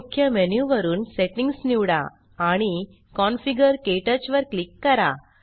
मुख्य मेनु वरुन सेटिंग्ज निवडा आणि कॉन्फिगर - क्टच वर क्लिक करा